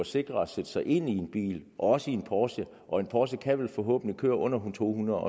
sikrere at sætte sig ind i en bil også i en porsche og en porsche kan vel forhåbentlig køre under to hundrede